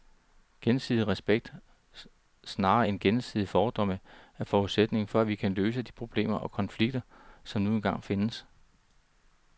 Gensidig respekt, snarere end gensidige fordomme, er forudsætningen for at vi kan løse de problemer og konflikter, som nu engang findes.